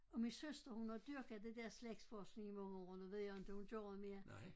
Og min søster hun har dyrket det der slægtsforskning i mange år nu ved jeg inte hun gør det mere